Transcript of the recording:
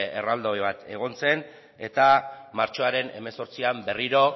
erraldoi bat egon zen eta martxoaren hemezortzian berriro